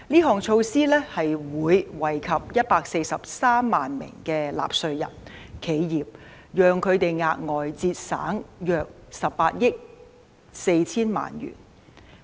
這措施會惠及143萬名納稅人和企業，讓他們額外節省約18億 4,000 萬元。